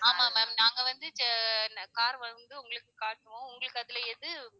ஆமாம் ma'am நாங்க வந்து ஜா~ car வந்து உங்களுக்கு காட்டுவோம் உங்களுக்கு அதுல எது